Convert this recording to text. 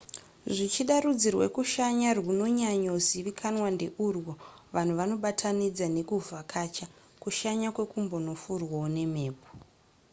zvichida rudzi rwekushanya rwunonyanyozivikanwa ndeurwo vanhu vanobatanidza nekuvhakacha kushanya kwekumbonofurwawo nemhepo